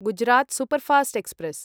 Gujarat superfast express